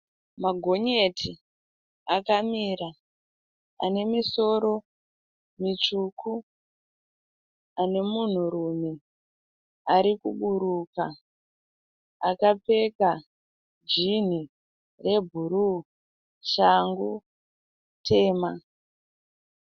Magonyeti akamira ane misoro mitsvuku ane munhurume ari kuburuka akapfeka jinhi rebhuruu shangu tema.